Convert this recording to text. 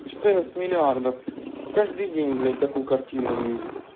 четырнадцать миллиардов каждый день блять такую картину вижу